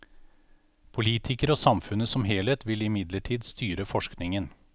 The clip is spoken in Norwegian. Politikere og samfunnet som helhet vil imidlertid styre forskningen.